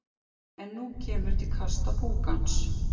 En nú kemur til kasta púkans.